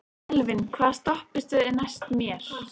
Elvin, hvaða stoppistöð er næst mér?